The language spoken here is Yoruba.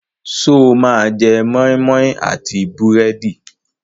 Ṣé o máa jẹ moi moi àti búrẹ́dì?